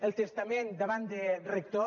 el testament davant de rector